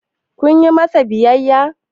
kun yi masa biyayya?